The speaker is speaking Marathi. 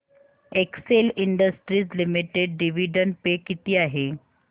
Excel industries limited dividend pay किती आहे